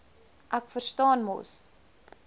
ek verstaan mos